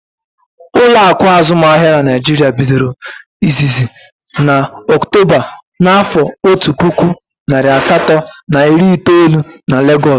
Ụlọakụ azụmahịa n'Naijiria bidoro izizi na Ọktoba na afo ọtu puku narị asatọ na iri itoolu n'Legoosu